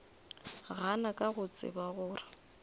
gana ka go tseba gore